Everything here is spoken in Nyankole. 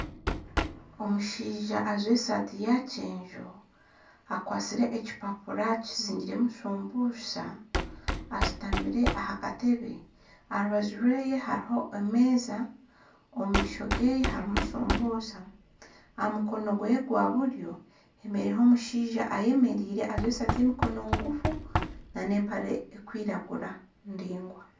Omushaija ajwire esaati ya kyenju akwasire ekipapura kizingiremu shumbusha. Ashitamire aha katebe, aha rubaju rwe hariho emeeza, omu maisho ge harimu shumbusha. Aha mukono gwe gwa buryo hariho omushaija ayemereire ajwire esaati y'emikono migufu na n'empare erikwiragura ndingwa.